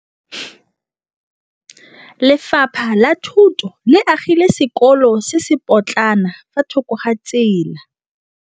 Lefapha la Thuto le agile sekôlô se se pôtlana fa thoko ga tsela.